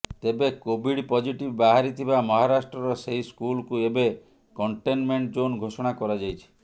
ତେବେ Covid positive ବାହାରିଥିବା ମହାରାଷ୍ଟ୍ରର ସେହି ସ୍କୁଲକୁ ଏବେ କଣ୍ଟେନ୍ମେଣ୍ଟ୍ ଜୋନ ଘୋଷଣା କରାଯାଇଛି